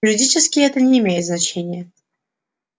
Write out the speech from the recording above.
юридически это не имеет значения